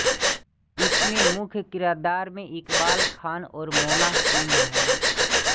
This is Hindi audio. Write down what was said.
इसमें मुख्य किरदार में इक़बाल खान और मोना सिंह हैं